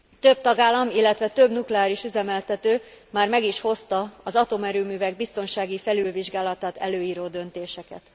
Több tagállam, illetve több nukleáris üzemeltető már meg is hozta az atomerőművek biztonsági felülvizsgálatát előíró döntéseket.